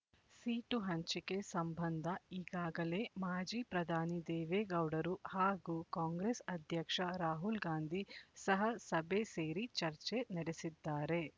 seat ಹಂಚಿಕೆ ಸಂಬಂಧ ಈಗಾಗಲೇ ಮಾಜಿ ಪ್ರಧಾನಿ ದೇವೇಗೌಡರು ಹಾಗೂ ಕಾಂಗ್ರೆಸ್ ಅಧ್ಯಕ್ಷ ರಾಹುಲ್‌ಗಾಂಧಿ ಸಹ ಸಭೆ ಸೇರಿ ಚರ್ಚೆ ನಡೆಸಿದ್ದಾರೆ